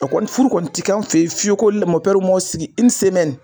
A kɔni ni furu kɔni ti kɛ kan fe yen fiyewu ko m'aw sigi